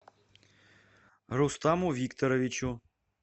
рустаму викторовичу